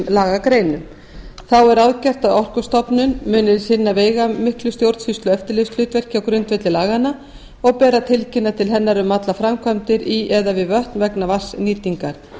lagagreinum þá er ráðgert að orkustofnun muni sinna veigamiklu stjórnsýslu og eftirlitshlutverki á grundvelli laganna og ber að tilkynna til hennar um allar framkvæmdir í eða við vötn vegna vatnsnýtingar